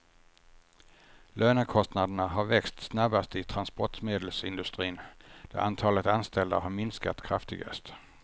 Lönekostnaderna har växt snabbast i transportmedelsindustrin, där antalet anställda har minskat kraftigast.